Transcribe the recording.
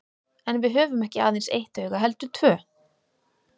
En við höfum ekki aðeins eitt auga heldur tvö.